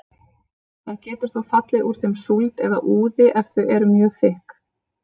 Það getur þó fallið úr þeim súld eða úði ef þau eru mjög þykk.